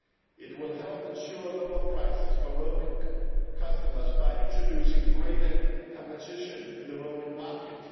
It will help ensure lower prices for roaming customers by introducing greater competition in the roaming market.